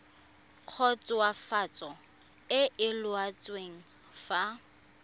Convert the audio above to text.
khutswafatso e e laotsweng fa